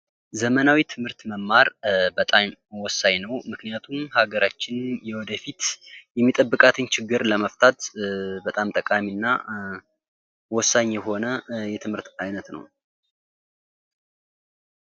ዘመናዊ ትምህርት መማር በጣም ወሳኝ ነው። ምክንያቱም ሀገራችን የወደፊት የሚጠብቃትን ችግር ለመፍታት በጣም ጠቃሚ እና ወሳኝ የሆነ የትምህርት ዓይነት ነው።